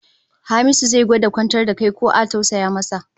Hamisu zai gwada kwantar da kai ko a tausaya masa